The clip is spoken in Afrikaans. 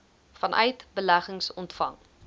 vanuit beleggings ontvang